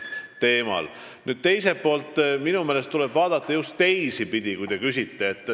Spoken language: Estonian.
Minu meelest tuleb seda vaadata just teisipidi, kui teie küsisite.